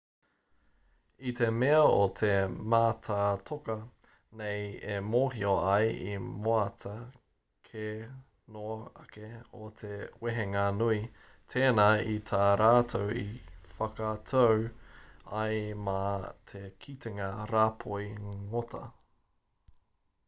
i te mea o te mātātoka nei e mōhio ai i moata ke noa ake o te wehenga nui tēnā i tā rātou i whakatau ai mā te kitenga rāpoi ngota